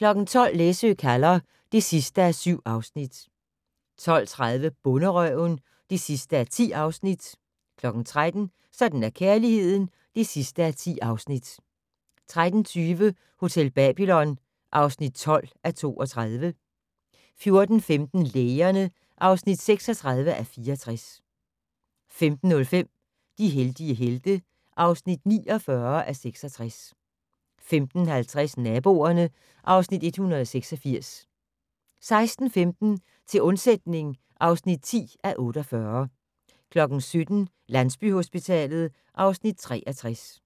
12:00: Læsø kalder (7:7) 12:30: Bonderøven (10:10) 13:00: Sådan er kærligheden (10:10) 13:20: Hotel Babylon (12:32) 14:15: Lægerne (36:64) 15:05: De heldige helte (49:66) 15:50: Naboerne (Afs. 186) 16:15: Til undsætning (10:48) 17:00: Landsbyhospitalet (Afs. 63)